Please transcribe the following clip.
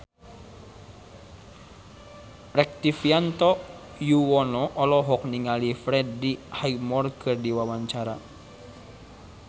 Rektivianto Yoewono olohok ningali Freddie Highmore keur diwawancara